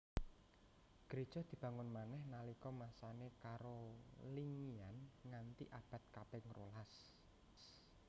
Gréja dibangun manèh nalika masané Carolingian nganti abad kaping rolas